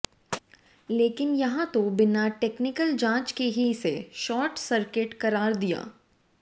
लेकिन यहां तो बिना टेक्निकल जांच ही इसे सॉर्ट सर्किट करार दे दिया